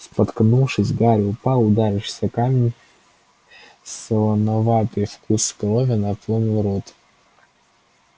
споткнувшись гарри упал ударившись о камень солоноватый вкус крови наполнил рот